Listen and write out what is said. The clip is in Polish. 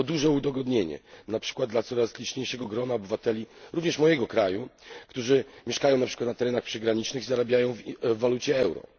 To duże udogodnienie na przykład dla coraz liczniejszego grona obywateli, również mojego kraju, którzy mieszkają na przykład na terenach przygranicznych i zarabiają w euro.